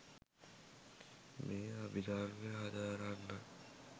මේ අභිධර්මය හදාරන්නන්